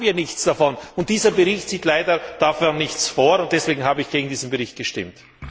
Aber noch haben wir nichts davon, und dieser Bericht sieht leider dafür nichts vor. Deswegen habe ich gegen diesen Bericht gestimmt.